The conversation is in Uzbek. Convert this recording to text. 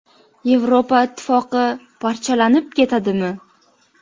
Yevropa Ittifoqi parchalanib ketadimi?